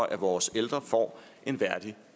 at vores ældre får en værdig